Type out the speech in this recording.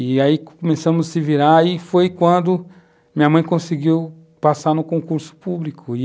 E aí começamos a se virar e foi quando minha mãe conseguiu passar no concurso público e,